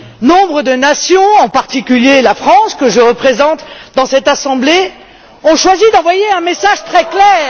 Nombre de nations, en particulier la France que je représente dans cette Assemblée, ont choisi d'envoyer un message très clair.